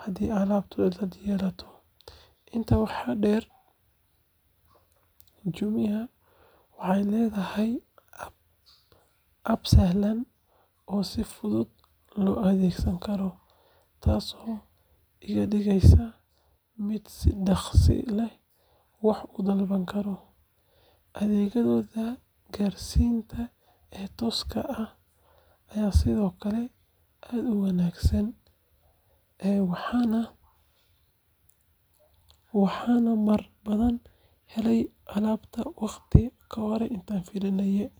haddii alaabtu cilad yeelato. Intaa waxaa dheer, Jumia waxay leedahay app sahlan oo si fudud loo adeegsan karo, taasoo iga dhigeysa mid si dhakhso leh wax u dalbada. Adeeggooda gaarsiinta ee tooska ah ayaa sidoo kale aad u wanaagsan, waxaana marar badan helay alaabtayda waqti ka horreeya intii la filayay.